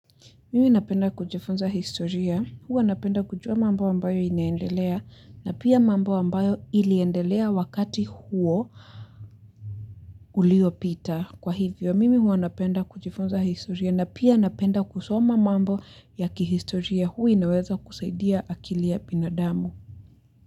Mimi napenda kujifunza historia, huwa napenda kujua mambo ambayo inaendelea na pia mambo ambayo iliendelea wakati huo uliopita. Kwa hivyo, mimi huwa napenda kujifunza historia na pia napenda kusoma mambo ya kihistoria huwa inaweza kusaidia akili ya binadamu.